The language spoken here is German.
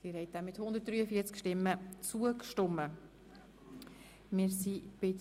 Sie haben der Abschreibung von Ziffer 4 einstimmig zugestimmt.